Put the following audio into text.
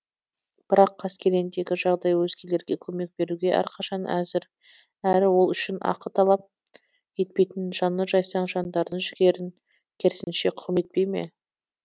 бірақ қаскелеңдегі жағдай өзгелерге көмек беруге әрқашан әзір әрі ол үшін ақы талап етпейтін жаны жайсаң жандардың жігерін керісінше құм етпей ме